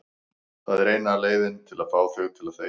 Það er eina leiðin til að fá þig til að þegja.